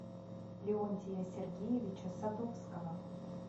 леонтия сергеевича садовского